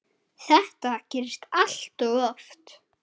Þetta gerist allt of oft.